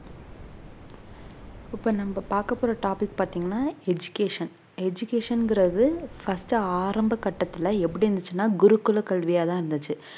இப்ப நம்ம பாக்க போற topic பாத்தீங்கன்னா education education ங்கிறது first ஆரம்ப கட்டத்துல எப்படி இருந்துச்சுன்னா குருகுல கல்வியா தான் இருந்துச்சு